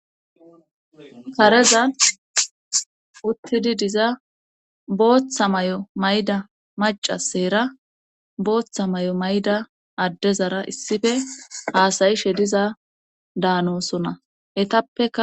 karezan uttidi diza booththa may7o mayda macaseera booththa may7o mayda addezara issife haasayi she diza daanosona etappeka